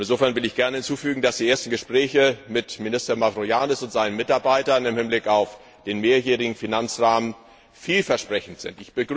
Insofern will ich gerne hinzufügen, dass die ersten Gespräche mit Minister Mavroiannis und seinen Mitarbeitern im Hinblick auf den mehrjährigen Finanzrahmen vielversprechend sind.